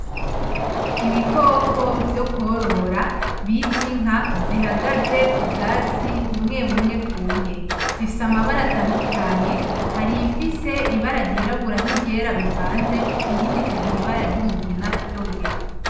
Ibikoko vyo kworora bita inka bihagaze k'ubwatsi bumwe bumwe bwumye. Zifise amabara atadukanye hari iyifise ibara ryirabura n'iryera bivanze, iyindi ikagira ibara ry'umugina ryonyene.